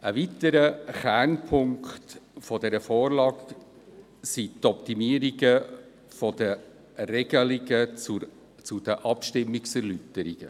Ein weiterer Kernpunkt dieser Vorlage ist die Optimierung der Regelungen zu den Abstimmungserläuterungen.